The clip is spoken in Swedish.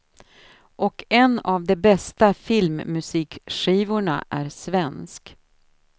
Och en av de bästa filmmusikskivorna är svensk.